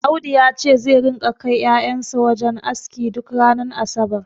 Audu yace zai ringa kai ƴaƴan sa wajen aski duk ranar asabar